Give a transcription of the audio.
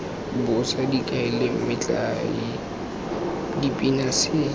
bosa dikaelo metlae dipina se